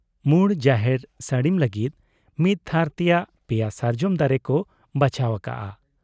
ᱢᱩᱬ ᱡᱟᱦᱮᱨ ᱥᱟᱹᱲᱤᱢ ᱞᱟᱹᱜᱤᱫ ᱢᱤᱫ ᱛᱷᱟᱨ ᱛᱮᱭᱟᱜ ᱯᱮᱭᱟ ᱥᱟᱨᱡᱚᱢ ᱫᱟᱨᱮ ᱠᱚ ᱵᱟᱪᱷᱟᱣ ᱟᱠᱟᱜ ᱟ ᱾